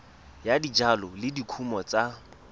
ya dijalo le dikumo tsa